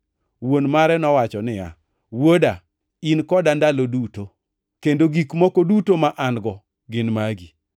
“Wuon mare nowacho niya, ‘Wuoda, in koda ndalo duto, kendo gik moko duto ma an-go gin magi.